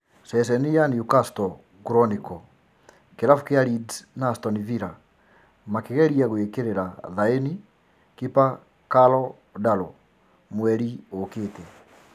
(Ceceni ya Newcastle chronicle) Kĩrabu kĩa Leeds na Aston Villa makĩgeria gwĩkĩrĩra thaĩni kipa Karl Darlow mweri ũkĩte